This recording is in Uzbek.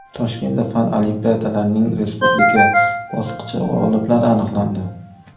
Toshkentda fan olimpiadalarining respublika bosqichi g‘oliblari aniqlandi.